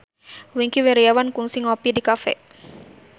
Wingky Wiryawan kungsi ngopi di cafe